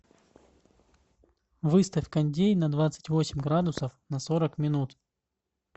выставь кондей на двадцать восемь градусов на сорок минут